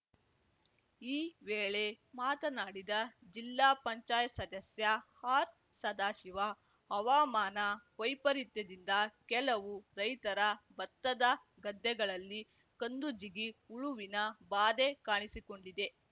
ಈ ವೇಳೆ ಮಾತನಾಡಿದ ಜಿಲ್ಲಾ ಪಂಚಾಯ್ ಸದಸ್ಯ ಆರ್‌ಸದಾಶಿವ ಹವಾಮಾನ ವೈಪರಿತ್ಯದಿಂದ ಕೆಲವು ರೈತರ ಬತ್ತದ ಗದ್ದೆಗಳಲ್ಲಿ ಕಂದುಜಿಗಿ ಹುಳುವಿನ ಬಾಧೆ ಕಾಣಿಸಿಕೊಂಡಿದೆ